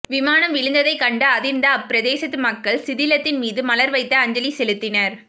விமானம் விழுந்ததை கண்டு அதிர்ந்த அப்பிரதேசத்து மக்கள் சிதிலத்தின் மீது மலர் வைத்து அஞ்சலி செலுத்தினர்